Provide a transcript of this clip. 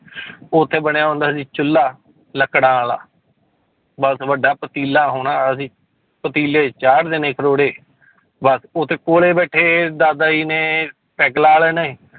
ਉੱਥੇ ਬਣਿਆ ਹੁੰਦਾ ਸੀ ਚੁੱਲਾ ਲੱਕੜਾਂ ਵਾਲਾ, ਬਸ ਵੱਡਾ ਪਤੀਲਾ ਹੋਣਾ ਅਸੀਂ ਪਤੀਲੇ 'ਚ ਚਾੜ ਦੇਣੇ ਖਰੋੜੇ ਬਸ ਉੱਥੇ ਕੋਲੇ ਬੈਠੇ ਦਾਦਾ ਜੀ ਨੇ ਪੈਗ ਲਾ ਲੈਣੇ